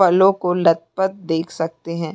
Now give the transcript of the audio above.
फलों को लद पद देख सकते हैं।